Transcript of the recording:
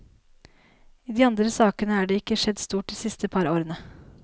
I de andre sakene er det ikke skjedd stort de siste par årene.